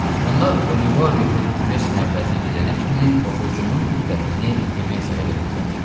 Onlar Olivo Herkules məbədinə gedənə kimi oxucunun diqqətini Temesaya yönəldək.